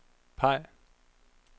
peg